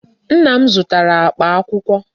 Nna m zụtara akpa akwụkwọ.